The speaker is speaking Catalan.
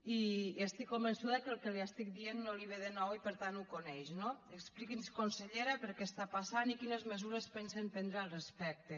i estic convençuda que el que li estic dient no li ve de nou i per tant ho coneix no expliqui’ns consellera per què està passant i quines mesures pensen prendre al respecte